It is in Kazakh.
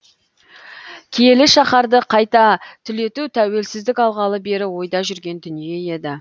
киелі шаһарды қайта түлету тәуелсіздік алғалы бері ойда жүрген дүние еді